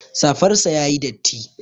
Safar sa yayi datti